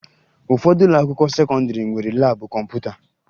Ụfọdụ ụlọakwụkwọ sekọndịrị nwere laabụ kọmputa